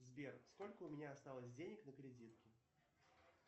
сбер сколько у меня осталось денег на кредитке